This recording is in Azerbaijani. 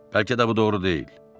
Bəlkə də bu doğru deyil.